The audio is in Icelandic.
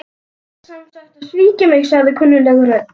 Þú ætlar sem sagt að svíkja mig- sagði kunnugleg rödd.